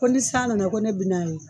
Ko ni san nana ko ne bi n'a ye